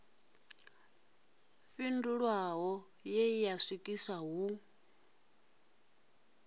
fhindulwaho ye ya swikiswa hu